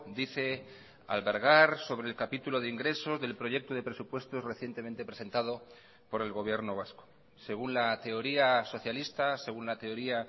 dice albergar sobre el capítulo de ingresos del proyecto de presupuestos recientemente presentado por el gobierno vasco según la teoría socialista según la teoría